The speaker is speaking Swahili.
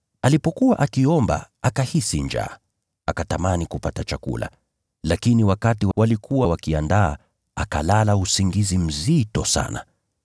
Alipokuwa akiomba akahisi njaa, akatamani kupata chakula. Lakini wakati walikuwa wakiandaa chakula, akalala usingizi mzito sana.